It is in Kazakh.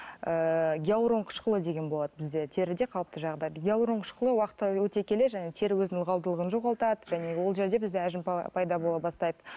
ііі гиалурон қышқылы деген болады бізде теріде қалыпты жағдайда гиалурон қышқылы уақыт өте келе және тері өзінің ылғалдылығын жоғалтады және ол жерде бізде әжім пайда бола бастайды